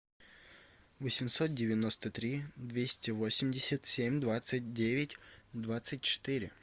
восемьсот девяносто три двести восемьдесят семь двадцать девять двадцать четыре